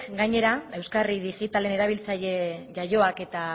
gainera euskarri digitalean erabiltzaile jaioak eta